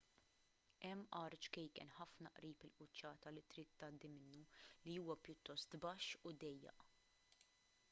hemm għar ċkejken ħafna qrib il-quċċata li trid tgħaddi minnu li huwa pjuttost baxx u dejjaq